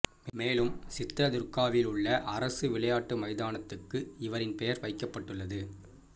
மேலும் சித்ரதுர்காவில் உள்ள அரசு விளையாட்டு மைதானத்துக்கு இவரின் பெயர் வைக்கப்பட்டுள்ளது